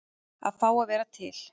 Að fá að vera til.